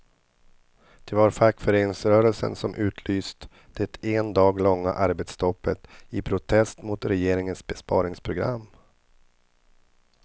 Det var fackföreningsrörelsen som utlyst det en dag långa arbetsstoppet i protest mot regeringens besparingsprogram.